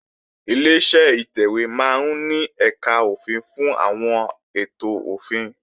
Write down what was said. Ileṣẹ́ ìtẹ̀wé máa ń ní ẹ̀kà òfin fún àwọn ètò òfin